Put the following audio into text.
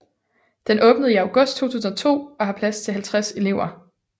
Den åbnede i august 2002 og har plads til 50 elever